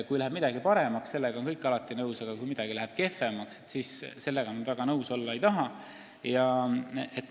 Kui läheb midagi paremaks, siis sellega on kõik alati nõus, aga kui midagi läheb kehvemaks, siis sellega väga nõus olla ei taheta.